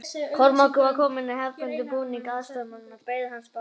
Kormákur var kominn í hefðbundinn búning aðstoðarmanna og beið hans á bátnum.